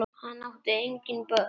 Hann átti engin börn.